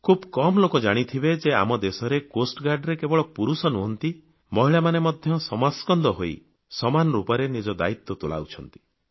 ଖୁବ୍ କମ୍ ଲୋକ ଜାଣିଥିବେ ଯେ ଆମ ଦେଶରେ ତଟରକ୍ଷୀ ବାହିନୀରେ କେବଳ ପୁରୁଷ ନୁହନ୍ତି ମହିଳାମାନେ ମଧ୍ୟ ସମାସ୍କନ୍ଧ ହୋଇ ସମାନ ରୂପରେ ନିଜ ଦାୟୀତ୍ୱ ତୁଲାଉଛନ୍ତି